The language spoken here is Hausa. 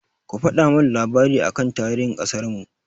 Ku faɗa min labari aka tarihin ƙasarmu!